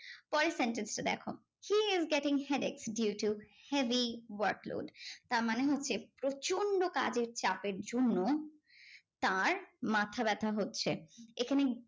পরের sentence টা দেখো, she is getting headache due to heavy workload. তার মাথাব্যথা হচ্ছে। এখানে